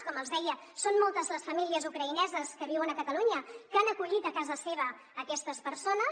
com els deia són moltes les famílies ucraïneses que viuen a catalunya que han acollit a casa seva aquestes persones